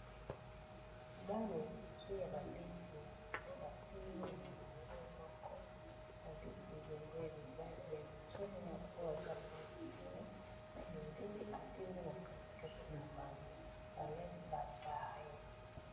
Bana ya mike ya ba beti ndembo batelemi na molongo moko, ba beti ndembo ya mibali ya mike na oyo aza mwa mikolo na mundele atelemi na kati kati na bango balati ba vareuses.